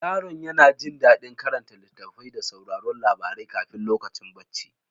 Yaron ya ji daɗin karanta littattafai da sauraron labarai kafin lokacin barci.